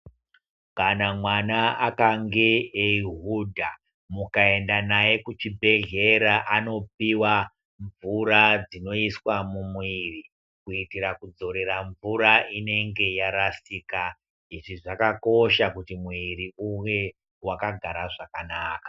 Kana mwana akange eihudha mukaenda naye kuchibhedhlera anopiwe mvura dzinoiswa mumuviri kuitira kudzorera mvura inenge yarasika. Izvi zvakakosha kuti muviri uve wakagara zvakanaka.